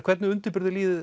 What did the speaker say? hvernig